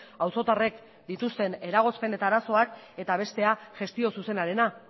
auzotarrek dituzten eragozpen eta arazoak eta bestea gestio zuzenarena